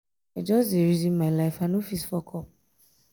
i just dey reason my life i no fit fuck up.